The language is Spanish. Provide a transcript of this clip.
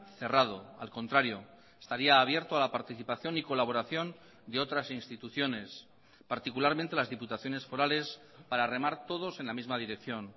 cerrado al contrario estaría abierto a la participación y colaboración de otras instituciones particularmente las diputaciones forales para remar todos en la misma dirección